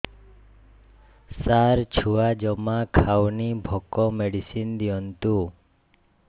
ସାର ଛୁଆ ଜମା ଖାଉନି ଭୋକ ମେଡିସିନ ଦିଅନ୍ତୁ